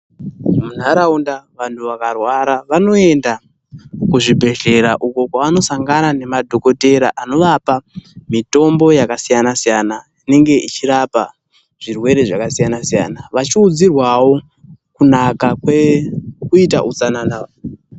Munharaunda vanhu vakarwara vanoenda kuzvibhehlera uko kwavanosangana nemadhogodhera anovapa mitombo yakasiyana-siyana inenge ichirapa zvirwere zvakasiyana-siyana, vachiudzirwawo kunaka kwekuita utsanana.